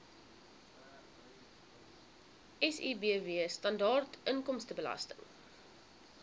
sibw standaard inkomstebelasting